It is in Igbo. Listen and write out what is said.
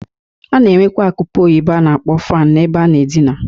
A na-enwekwa akụpe oyibo a na-akpọ fan na-ebe a na-adịna.